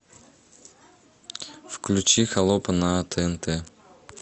включи холопа на тнт